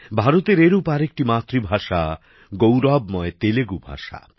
ভারতের এরকম আরেকটি মাতৃভাষা গৌরবময় তেলুগু ভাষা